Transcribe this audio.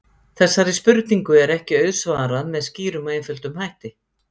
Þessari spurningu er ekki auðsvarað með skýrum og einföldum hætti.